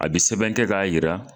A bi sɛbɛn kɛ k'a yira